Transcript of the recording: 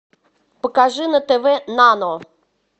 покажи на тв нано